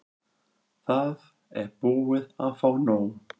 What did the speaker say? Það er búið að fá nóg.